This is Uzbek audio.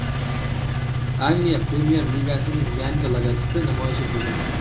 Angliya Premyer-ligasining yangi logotipi namoyish etildi.